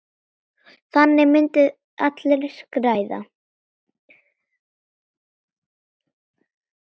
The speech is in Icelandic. Þannig myndu allir græða.